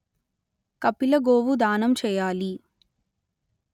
కపిల గోవు దానం చేయాలి